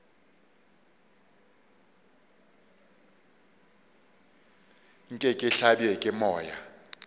nke ke hlabje ke moya